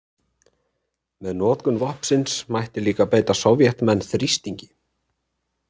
Með notkun vopnsins mætti líka beita Sovétmenn þrýstingi.